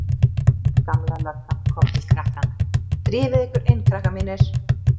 Gamla löggan kom til krakkanna: Drífið þið ykkur inn krakkar mínir.